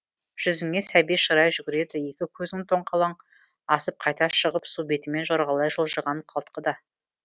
жүзіңе сәби шырай жүгіреді екі көзің тоңқалаң асып қайта шығып су бетімен жорғалай жылжыған қалтқыда